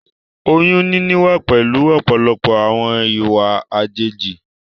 Oyún níní wá pẹ̀lú ọ̀pọ̀lọpọ̀ àwọn ìwà àjèjì